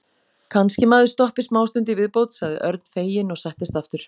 Kannski maður stoppi smástund í viðbót sagði Örn feginn og settist aftur.